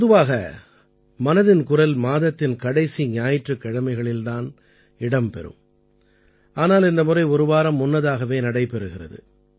பொதுவாக மனதின் குரல் மாதத்தின் கடைசி ஞாயிற்றுக் கிழமைகளில் தான் இடம் பெறும் ஆனால் இந்த முறை ஒரு வாரம் முன்னதாகவே நடைபெறுகிறது